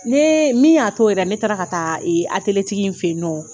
Ne min y'a to yɛrɛ ne taara ka taa in fɛ yen nɔ